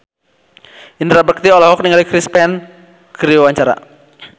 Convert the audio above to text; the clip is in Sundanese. Indra Bekti olohok ningali Chris Pane keur diwawancara